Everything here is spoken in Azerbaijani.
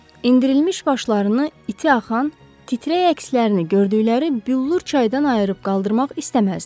Endirilmiş başlarını, iti axan, titrək əkslərini gördükləri billur çaydan ayırıb qaldırmaq istəməzdilər.